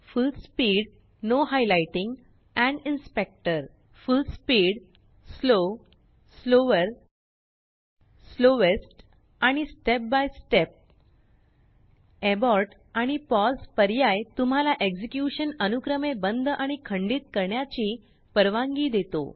फुल speed full speed slow slower slowest आणि step by step Abortआणिpauseपर्यायतुम्हालाएक्झेक्युशन अनुक्रमेबंद आणि खंडित करण्याची परवानगी देतो